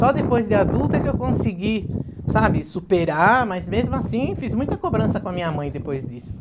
Só depois de adulta que eu consegui, sabe, superar, mas mesmo assim fiz muita cobrança com a minha mãe depois disso.